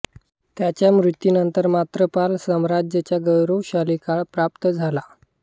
त्याच्या मृत्यूनंतर मात्र पाल साम्राज्याचा गौरवशाली काळ समाप्त झाला